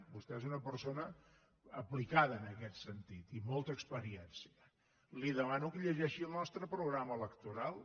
vostè és una persona aplicada en aquest sentit i amb molta experiència li demano que llegeixi el nostre programa electoral